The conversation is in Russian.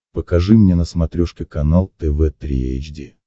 покажи мне на смотрешке канал тв три эйч ди